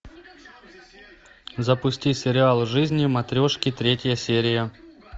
запусти сериал жизни матрешки третья серия